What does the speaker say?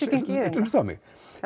hlusta á mig